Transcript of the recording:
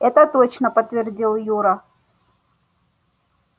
это точно подтвердил юра